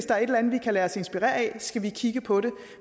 der et eller andet vi kan lade os inspirere af skal vi kigge på det